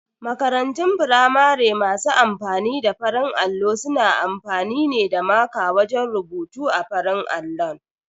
Makarantun firamare masu amfani da farin allo suna amfani ne da maƙa wajen rubutu a farin allon.